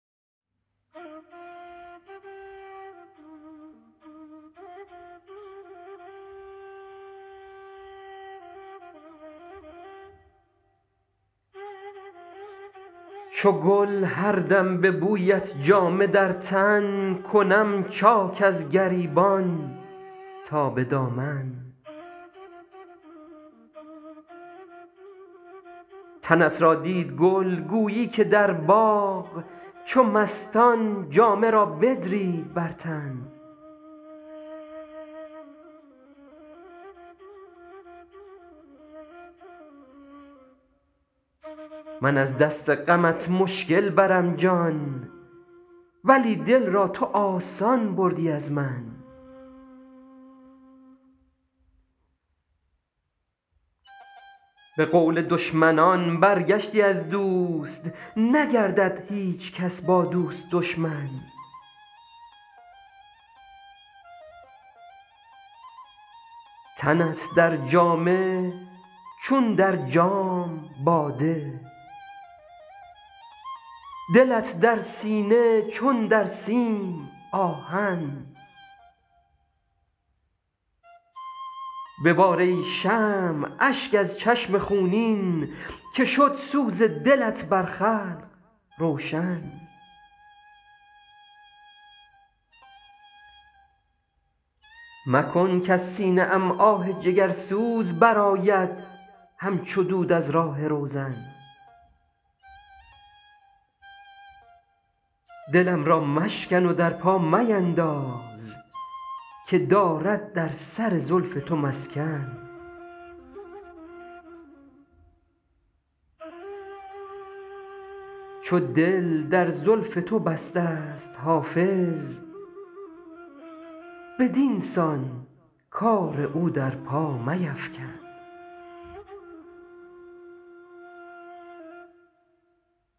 چو گل هر دم به بویت جامه در تن کنم چاک از گریبان تا به دامن تنت را دید گل گویی که در باغ چو مستان جامه را بدرید بر تن من از دست غمت مشکل برم جان ولی دل را تو آسان بردی از من به قول دشمنان برگشتی از دوست نگردد هیچ کس با دوست دشمن تنت در جامه چون در جام باده دلت در سینه چون در سیم آهن ببار ای شمع اشک از چشم خونین که شد سوز دلت بر خلق روشن مکن کز سینه ام آه جگرسوز برآید همچو دود از راه روزن دلم را مشکن و در پا مینداز که دارد در سر زلف تو مسکن چو دل در زلف تو بسته ست حافظ بدین سان کار او در پا میفکن